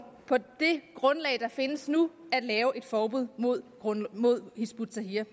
på det grundlag der findes nu at lave et forbud mod hizb ut tahrir